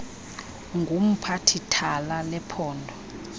ngumphathi thala lephondo